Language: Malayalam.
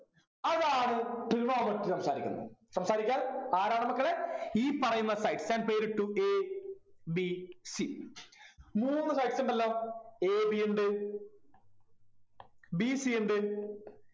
അതാണ് trigonometry സംസാരിക്കുന്നത് സംസാരിക്കാം ആരാണ് മക്കളെ ഈ പറയുന്ന sides ഞാൻ പേരിട്ടു A B C മൂന്നു sides ഉണ്ടല്ലോ AB ഇണ്ട് BC ഇണ്ട്